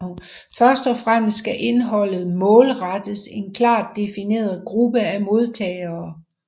Først og fremmest skal indholdet målrettes en klart defineret gruppe af modtagere